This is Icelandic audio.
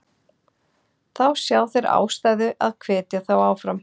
Þá sjá þeir ástæðu að hvetja þá áfram.